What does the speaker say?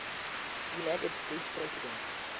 united states president